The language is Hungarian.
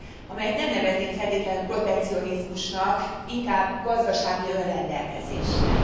amelyet nem neveznék feltétlenül protekcionizmusnak, inkább gazdasági önrendelkezésnek.